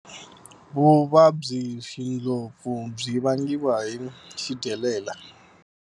Vuvabyixindlopfu byi vangiwa hi xidyelela